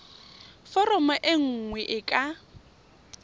foromo e nngwe e ka